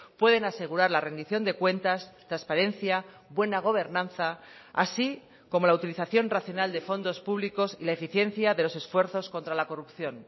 pueden asegurar la rendición de cuentas transparencia buena gobernanza así como la utilización racional de fondos públicos y la eficiencia de los esfuerzos contra la corrupción